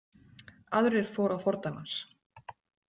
Aðrir fóru að fordæmi hans.